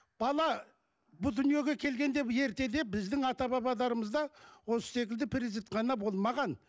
бала бұл дүниеге келгенде ертеде біздің ата бабаларымызда осы секілді перзентхана болмаған